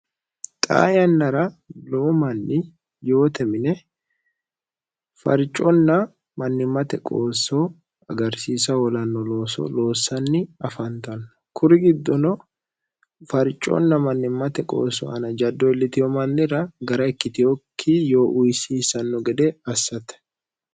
xa yannara lowu manni yoote mine farconna mannimmate qoosso agarsiisa hoolanno looso loossanni afantanno kuri giddono farconna mannimmate qoosso ana jaddo illitiho mannira gara ikkitihokki yoo uyisiisanno gede assate